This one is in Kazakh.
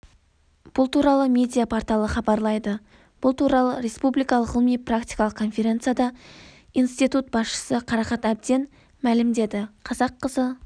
бұл туралы медиа-порталы хабарлайды бұл туралы республикалық ғылыми-практикалық конференцияда институт басшысы қарақат әбден мәлімдеді қазақ қызы